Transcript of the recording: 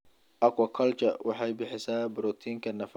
Aquaculture waxay bixisaa borotiinka nafaqada qoyska.